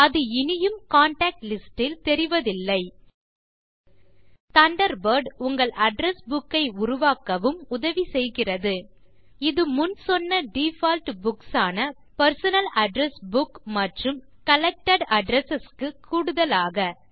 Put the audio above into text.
அது இனியும் contact list இ தெரிவதில்லை தண்டர்பர்ட் உங்கள் அட்ரெஸ் புக் ஐ உருவாக்கவும் உதவி செய்கிறது இது முன் சொன்ன டிஃபால்ட் புக்ஸ் ஆன பெர்சனல் அட்ரெஸ் புக் மற்றும் கலெக்டட் அட்ரெஸ் க்கு கூடுதலாக